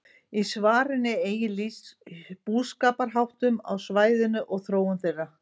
Í svarinu er einnig lýst búskaparháttum á svæðinu og þróun þeirra.